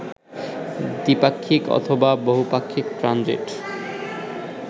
দ্বিপাক্ষিক অথবা বহুপাক্ষিক ট্রানজিট